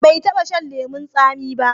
Bai taba shan lemon tsami ba.